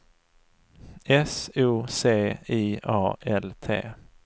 S O C I A L T